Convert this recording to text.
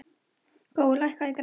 Gói, lækkaðu í græjunum.